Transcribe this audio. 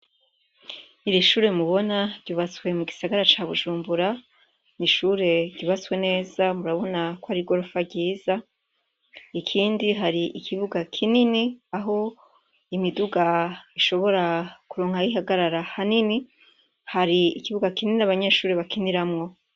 Iri shure mubona ryubatswe mugisagara ca Bujumbura, n' ishure ryubatswe neza murabona ko ari gorofa ryiza, ikindi hari ikibuga kinini aho imiduga ishobora koronka aho ihagarara hanini, hari ikibuga kinini abanyeshure bakiniramwo.